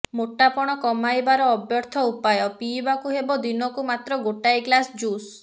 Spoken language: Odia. ମୋଟାପଣ କମାଇବାର ଅବ୍ୟର୍ଥ ଉପାୟ ପିଇବାକୁ ହେବ ଦିନକୁ ମାତ୍ର ଗୋଟାଏ ଗ୍ଲାସ୍ ଜୁସ୍